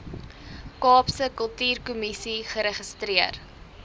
kaapse kultuurkommissie geregistreer